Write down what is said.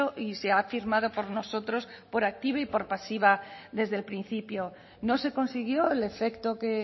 y se ha afirmado por nosotros por activa y por pasiva desde el principio no se consiguió el efecto que